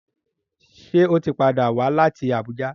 Ṣe o tí pàdà wá láti Abuja?